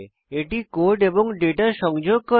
এটি কোড এবং ডেটা সংযোগ করে